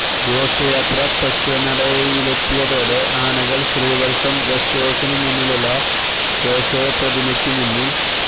ഘോഷയാത്ര തെക്കേനടയിലെത്തിയതോടെ ആനകള് ശ്രീവത്സം ഗസ്റ്റ് ഹൌസിന് മുന്നിലുള്ള കേശവ പ്രതിമക്കു മുന്നില്